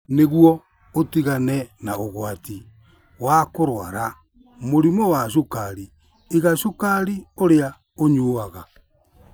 Nĩguo ũtigane na ũgwati wa kũrũara mũrimũ wa cukari, iga cukari ũrĩa ũnyuaga.